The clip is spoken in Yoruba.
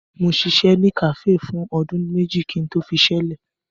Mo ṣiṣẹ́ ní kàféè fún ọdún méjì kí n tó fiṣẹ́ lẹ̀.